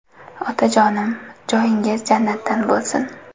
Otajonim, joyingiz jannatdan bo‘lsin.